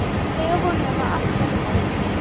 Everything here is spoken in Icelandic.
Segja honum að allt verði gott.